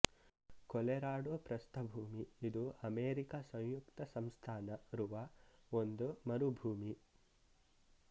Colorado ಪ್ರಸ್ಥಭೂಮಿ ಇದು America ಸಂಯುಕ್ತ ಸಂಸ್ಥಾನ ರುವ ಒಂದು ಮರುಭೂಮಿ